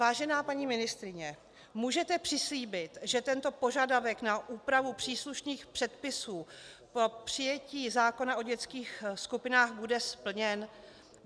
Vážená paní ministryně, můžete přislíbit, že tento požadavek na úpravu příslušných předpisů po přijetí zákona o dětských skupinách bude splněn?